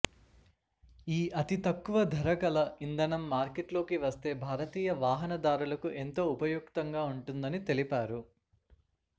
ఈ అతి తక్కువ ధర గల ఇంధనం మార్కెట్లోకి వస్తే భారతీయ వాహనదారులకు ఎంతో ఉపయుక్తంగా ఉంటుందని తెలిపారు